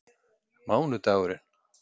mánudagurinn